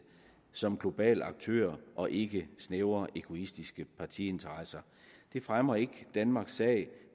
som global aktør og ikke snævre egoistiske partiinteresser det fremmer ikke danmarks sag